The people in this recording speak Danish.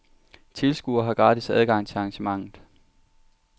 Tilskuere har gratis adgang til arrangementet.